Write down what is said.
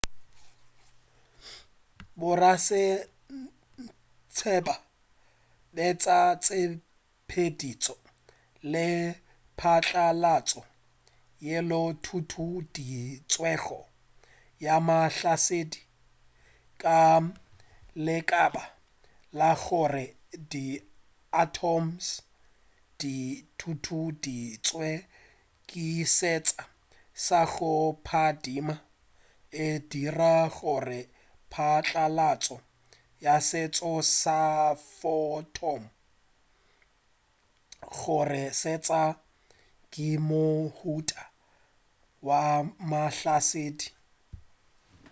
borasaentsheba betša tshepeditšo ye phatlalatšo yeo e tutueditšwego ya mahlasedi ka lebaka la gore di atoms di tutueditšwe ke seetša sa go phadima e dira gore phatlalatšo ya seetša sa photon gomme seetša ke mohuta wa mahlasedi